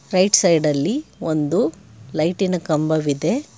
Right side ಅಲ್ಲಿ ಒಂದು ಲೈಟಿನ ಕಂಬವಿದೆ.